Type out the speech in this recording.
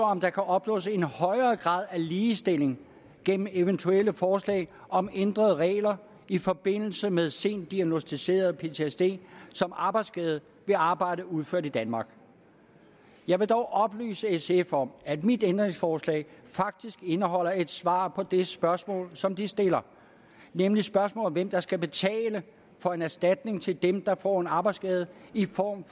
om der kan opnås en højere grad af ligestilling gennem eventuelle forslag om ændrede regler i forbindelse med sent diagnosticeret ptsd som arbejdsskade ved arbejde udført i danmark jeg vil dog oplyse sf om at mit ændringsforslag faktisk indeholder et svar på det spørgsmål som de stiller nemlig spørgsmålet om hvem der skal betale for en erstatning til dem der får en arbejdsskade i form